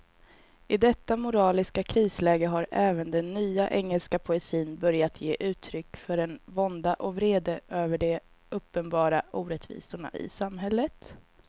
I detta moraliska krisläge har även den nya engelska poesin börjat ge uttryck för en vånda och vrede över de uppenbara orättvisorna i samhället.